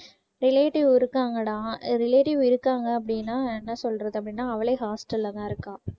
relative இருக்காங்கடா relative இருக்காங்க அப்படினா என்ன சொல்றது அப்படினா அவளே hostel அ தான் இருக்கா